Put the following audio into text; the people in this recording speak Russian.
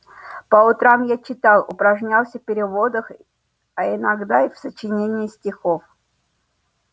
по утрам я читал упражнялся в переводах а иногда и в сочинении стихов